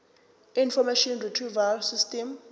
information retrieval system